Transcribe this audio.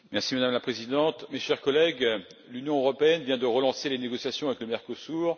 Madame la Présidente, chers collègues, l'Union européenne vient de relancer les négociations avec le Mercosur.